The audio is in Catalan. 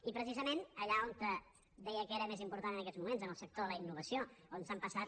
i precisament allà on d eia que era més important en aquests moments en el sector de la innovació on s’han passat